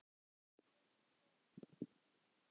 Elsku brói minn.